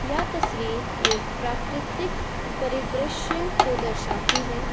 यह तस्वीर एक प्राकृतिक परिदृश्य को दर्शाती है।